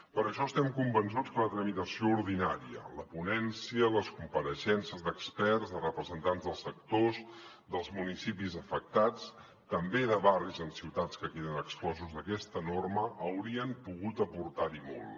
per això estem convençuts que la tramitació ordinària la ponència les compareixences d’experts de representants dels sectors dels municipis afectats també de barris en ciutats que queden exclosos d’aquesta norma haurien pogut aportar hi molt